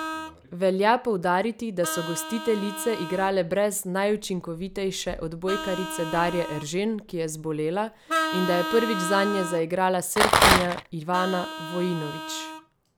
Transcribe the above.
Velja poudariti, da so gostiteljice igrale brez najučinkovitejše odbojkarice Darje Eržen, ki je zbolela, in da je prvič zanje zaigrala Srbkinja Ivana Vojinović.